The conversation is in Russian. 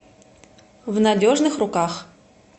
в надежных руках